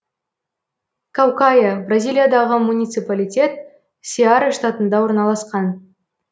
каукая бразилиядағы муниципалитет сеара штатында орналасқан